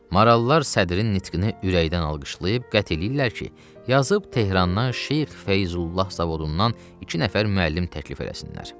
Maralılar sədrin nitqini ürəkdən alqışlayıb qəti eləyirlər ki, yazıb Tehrandan şeyx Feyzullah zavodundan iki nəfər müəllim təklif eləsinlər.